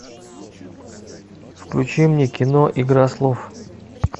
включи мне кино игра слов